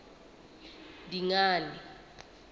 dingane